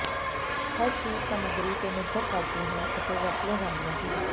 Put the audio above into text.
ਹਰ ਚੀਜ ਸਾਮੱਗਰੀ ਤੇ ਨਿਰਭਰ ਕਰਦੀ ਹੈ ਅਤੇ ਵਰਤੀਆਂ ਜਾਂਦੀਆਂ ਚੀਜ਼ਾਂ